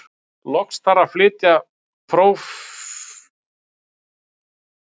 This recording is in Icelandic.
Loks þarf að flytja prótínin hvert á sinn stað í frumunni.